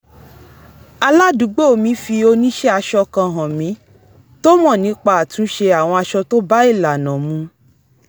aládùúgbò mi fi oníṣẹ́-aṣọ kan hàn mí tó mọ̀ nipa àtúns̩e àwọn aṣọ tó bá ìlànà mu